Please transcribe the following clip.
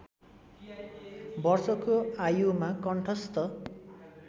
वर्षको आयुमा कण्ठस्‍थ